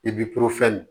I b'i